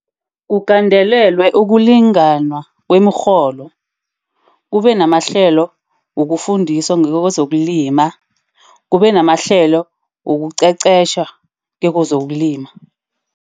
Kugandelelwe ukulingana kwemirholo. Kube namahlelo wokufundisa ngekozokulima. Kube namahlelo wokuqeqesha ngekozokulima.